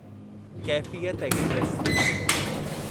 Kaifiyat express